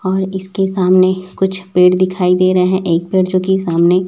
और इसके सामने कुछ पेड़ दिखाई दे रहे है एक पेड़ जोकि सामने--